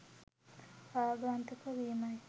ආගන්තුක වීමයි.